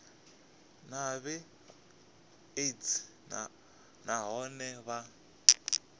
na hiv aids nahone vha